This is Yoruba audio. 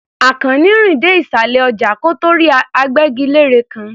Àkànní rìn dé ìsàlẹ̀ ọjà kó tó rí agbẹ́gilére kan.